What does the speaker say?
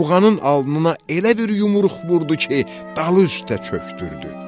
Buğanın alnına elə bir yumruq vurdu ki, dalı üstə çöxdürdü.